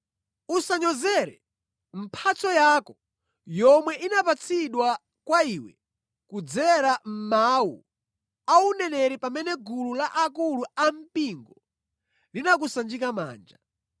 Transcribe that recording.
Usanyozere mphatso yako yomwe inapatsidwa kwa iwe kudzera mʼmawu auneneri pamene gulu la akulu ampingo linakusanjika manja.